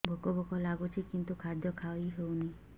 ଭୋକ ଭୋକ ଲାଗୁଛି କିନ୍ତୁ ଖାଦ୍ୟ ଖାଇ ହେଉନି